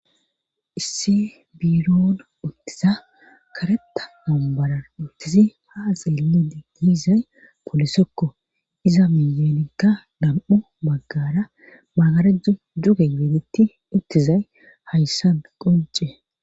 Isse biiroon uttiza kareta mambara uttizi ha xillide giizay polisokko iza miyenikka dam'u baggara magarejju duge geedetti ittizay hayssan qonce.